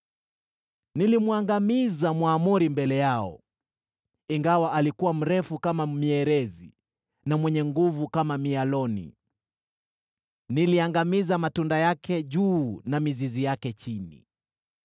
“Nilimwangamiza Mwamori mbele yao, ingawa alikuwa mrefu kama mierezi, na mwenye nguvu kama mialoni. Niliyaangamiza matunda yake juu na mizizi yake chini.